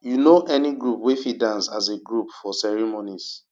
you no any group wey fit dance as a group for ceremonies